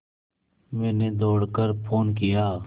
मैंने दौड़ कर फ़ोन किया